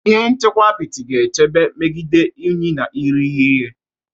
Ihe nchekwa apịtị ga-echebe megide unyi na irighiri ihe.